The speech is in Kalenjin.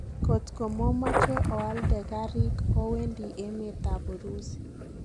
Kotgo momoche ooalde kariik, owendi emet ab Urusi.